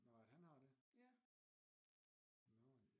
Nå at han har det